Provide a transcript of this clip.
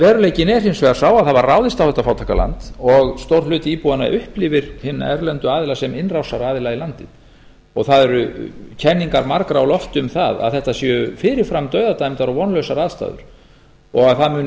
veruleikinn er hins vegar sá að það var ráðist á þetta fátæka land og stór hluti íbúanna upplifir hina erlendu aðila sem innrásaraðila í landið og það eru kenningar margra á lofti um að þetta séu fyrir fram dauðadæmdar og vonlausar aðstæður og það muni